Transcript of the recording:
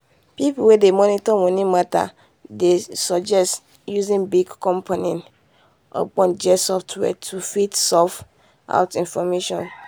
people wey dey monitor money matter dey suggest using big company ogbonge software to fit sort out information